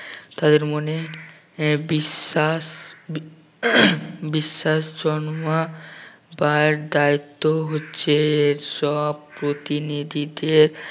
তাদের মনে আহ বিশ্বাস বি বিশ্বাস জন্মাবার দায়িত্ব হচ্ছে এর সব প্রতিনিধিদের